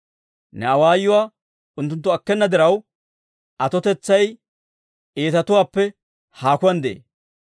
Ne awaayuwaa unttunttu akkena diraw, atotetsay iitatuwaappe haakuwaan de'ee.